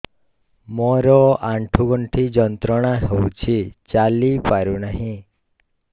ମୋରୋ ଆଣ୍ଠୁଗଣ୍ଠି ଯନ୍ତ୍ରଣା ହଉଚି ଚାଲିପାରୁନାହିଁ